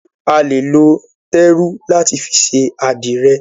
A lè lo téru láti fi ṣe àdìrẹ̀.